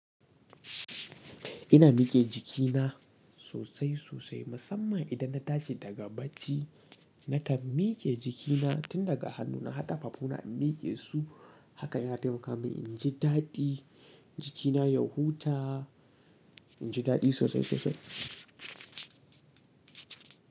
Ina miƙe jikina sosai sosai, musamman idan na tashi daga bacci. Nakan miƙe jikina tun daga hannuna har ƙafafuna in miƙe su. Haka yana taimaka min in ji daɗi, jikina ya huta, in ji daɗi sosai sosai.